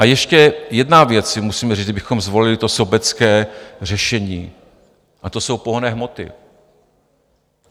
A ještě jednu věc si musíme říct, kdybychom zvolili to sobecké řešení, a to jsou pohonné hmoty.